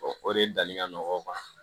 o de dali ka nɔgɔ o ma